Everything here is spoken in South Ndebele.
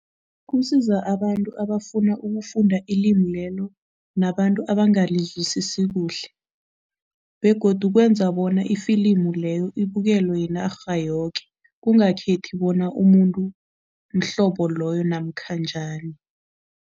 Kusiza abantu abafuna ukufunda ilimi lelo nabantu abangalizwisisi kuhle begodu kwenza bona ifilimu leyo ibukelwe yinarha yoke, kungakhethi bona umuntu mhlobo loyo namkha njani.